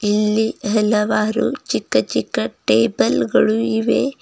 ಇಲ್ಲಿ ಹೆಲವಾರು ಚಿಕ್ಕ ಚಿಕ್ಕ ಟೇಬಲ್ ಗಳು ಇವೆ.